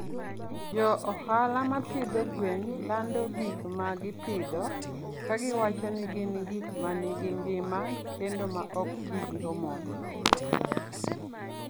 Jo ohala ma pidho gwen lando gik ma gipidho ka giwacho ni gin gik ma nigi ngima kendo ma ok ti gi hormone.